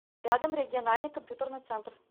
рядом региональный компьютерный центр